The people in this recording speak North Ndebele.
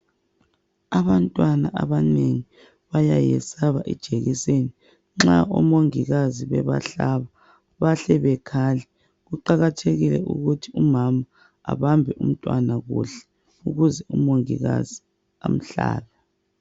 Abantwana abanengi bayayesaba ijekiseni nxa omongikazi bebahlaba bahle bekhale. Kuqakathekile ukuthi umama abambe umntwana kuhle ukuze umongikazi amhlabe.